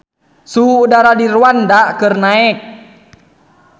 Suhu udara di Rwanda keur naek